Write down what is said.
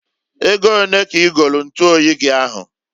Ego onee ka i golu ntuoyi gi ahụ?